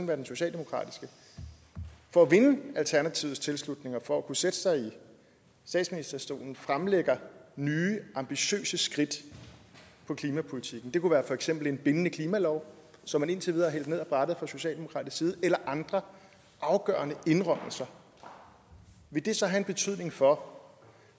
være den socialdemokratiske for at vinde alternativets tilslutning og for at kunne sætte sig i statsministerstolen fremlægger nye ambitiøse skridt i klimapolitikken det kunne for eksempel være en bindende klimalov som man indtil videre har hældt ned ad brættet fra socialdemokratisk side eller andre afgørende indrømmelser vil det så have en betydning for